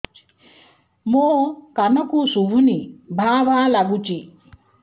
ମୋ କାନକୁ ଶୁଭୁନି ଭା ଭା ଲାଗୁଚି